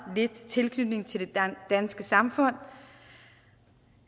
lidt tilknytning til det danske samfund